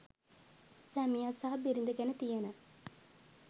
සැමියා සහ බිරිය ගැන තියෙන